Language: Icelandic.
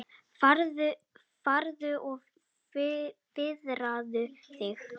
Farðu og viðraðu þig,